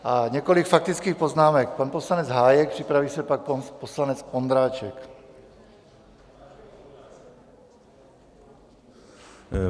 A několik faktických poznámek - pan poslanec Hájek, připraví se pan poslanec Ondráček.